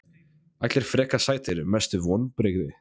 Allir frekar sætir Mestu vonbrigði?